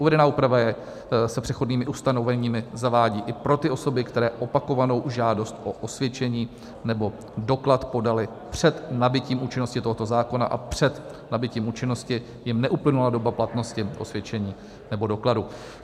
Uvedená úprava se přechodnými ustanoveními zavádí i pro ty osoby, které opakovanou žádost o osvědčení nebo doklad podaly před nabytím účinnosti tohoto zákona a před nabytím účinnosti jim neuplynula doba platnosti osvědčení nebo dokladu.